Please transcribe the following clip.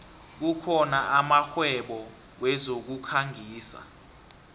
kukhona amakghwebo wezokukhangisa